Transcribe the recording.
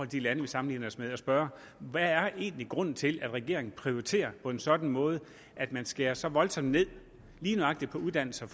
de lande vi sammenligner os med at spørge hvad er egentlig grunden til at regeringen prioriterer på en sådan måde at man skærer så voldsomt ned lige nøjagtig på uddannelses og